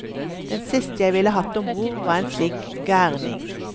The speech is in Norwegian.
Den siste jeg ville hatt om bord var en slik gærning.